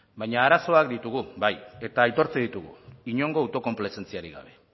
baina arazoak ditugu bai eta aitortzen ditugu inongo autokonplazentziarik gabe